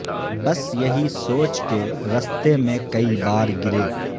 بس یہی سوچ کے رستے میں کئ بار گرے